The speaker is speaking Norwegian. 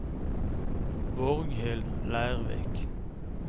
Borghild Lervik